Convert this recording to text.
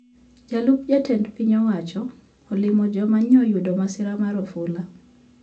Jalup jatend piny owacho olimo joma nyoyudo masira mar ofula